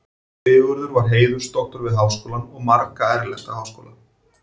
Sigurður var heiðursdoktor við Háskólann og marga erlenda háskóla.